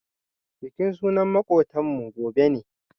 Bikin suna na makotan mu gobe ne.